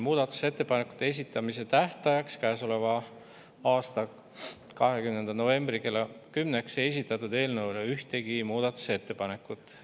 Muudatusettepanekute esitamise tähtajaks, käesoleva aasta 20. novembri kella 10-ks ei esitatud eelnõu kohta ühtegi muudatusettepanekut.